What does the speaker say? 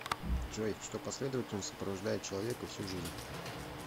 джой что последовательно сопровождает человека всю жизнь